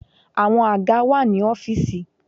Àwọn àga wà ní ọ́fìsì.